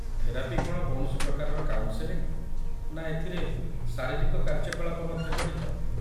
Therapy କ'ଣ କୌଣସି ପ୍ରକାରର କାଉନସେଲିଙ୍ଗ, ନା ଏଥିରେ ଶାରୀରିକ କାର୍ଯ୍ୟକଳାପ ମଧ୍ୟ ଜଡ଼ିତ?